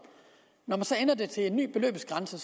til en ny beløbsgrænse